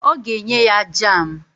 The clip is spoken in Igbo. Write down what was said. Ọ ga-enye ya jam